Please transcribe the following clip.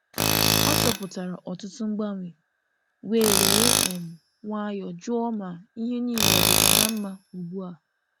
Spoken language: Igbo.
Ọ chọpụtara ọtụtụ mgbanwe wee were um nwayọọ jụọ ma ihe niile ọ dịkwa na mma ugbu a.